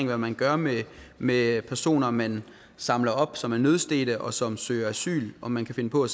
hvad man gør med med personer man samler op som er nødstedte og som søger asyl om man kan finde på at